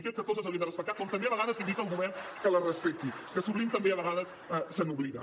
i crec que tots les hauríem de respectar com també a vegades li dic al govern que les respecti que sovint també a vegades se n’oblida